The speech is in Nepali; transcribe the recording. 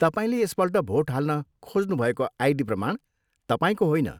तपाईँले यसपल्ट भोट हाल्न खोज्नुभएको आइडी प्रमाण तपाईँको होइन।